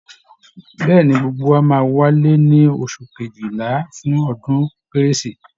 Bẹ́ẹ̀ ni, gbogbo wa máa wálé ní oṣù kejìlà fún ọdún Kérésì